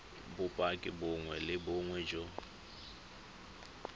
bopaki bongwe le bongwe jo